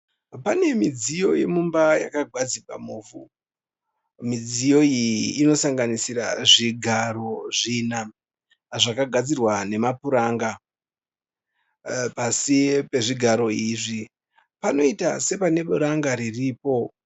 Pane midziyo yemumba yakagadzikwa muvhu. Midziyo iyi inosaganisira zvigaro zvina, zvakagadzirwa nemapuranga. Pasi pezvigaro izvi panoita sepane puranga riripo.